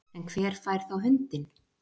En hver fær þá hundinn